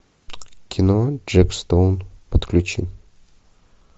кино джек стоун подключи